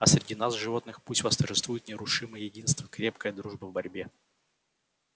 а среди нас животных пусть восторжествует нерушимое единство крепкая дружба в борьбе